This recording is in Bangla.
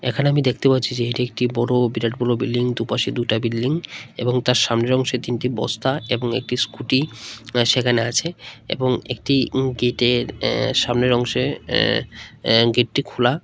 এখানে আমি দেখতে পাচ্ছি যে এটি একটি বড় বিরাট বড় বিল্ডিং দু'পাশে দুটা বিল্ডিং এবং তার সামনে অংশে তিনটি বস্তা এবং একটি স্কুটি সেখানে আছে এবং একটি গিটের এ সামনে অংশে এ গেটটি খুলা।